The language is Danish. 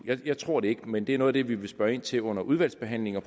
jeg tror det ikke men det er noget af det vi vil spørge ind til under udvalgsbehandlingen og